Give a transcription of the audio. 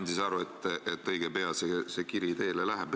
Ma sain aru, et õige pea see kiri teele läheb.